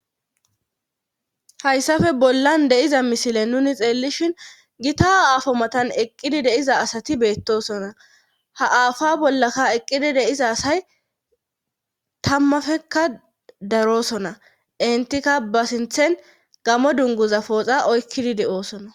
Hayssafe bollan deiza misile nuni xeellishin gita aafo matan eqqidi deiza asati beettosona haaafa bollaka eqqidi deiza asay tammafekka daroosona entika basinthen gamo dunguza pooxa oykkidi de'oosona.